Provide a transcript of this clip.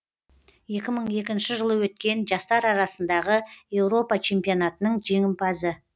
екі мың екінші жылы өткен жастар арасындағы еуропа чемпионатының жеңімпазы